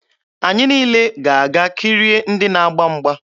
Anyị niile ga-aga kirie ndị na-agba mgba.